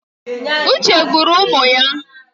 Uche gburu ụmụ ya.